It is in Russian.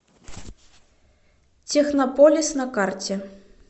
технополис на карте